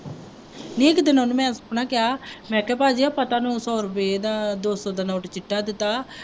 ਨੀ ਇੱਕ ਦਿਨ ਉਹਨੂੰ ਮੈਂ ਆਪਣਾ ਕਿਹਾ ਮੈਂ ਕਿਹਾ ਭਾਅ ਜੀ ਆਹ ਪਤਾ ਨੌ ਸੌ ਰੁਪਏ ਦਾ ਦੋ ਸੌ ਦਾ ਨੋਟ ਚਿੱਟਾ ਦਿੱਤਾ